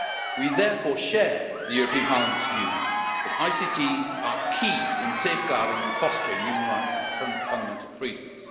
We therefore share the European Parliament's view that ICTs are key in safeguarding and fostering human rights and fundamental freedoms.